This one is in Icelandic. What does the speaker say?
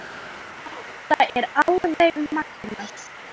Þetta er alveg magnað.